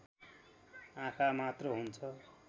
आँखा मात्र हुन्छ